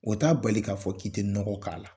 O t'a bali k'a fɔ k'i tɛ nɔgɔ k'a la.